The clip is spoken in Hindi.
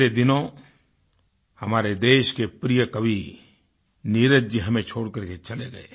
पिछले दिनों हमारे देश के प्रिय कवि नीरज जी हमें छोड़कर के चले गए